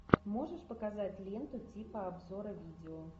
можешь показать ленту типа обзора видео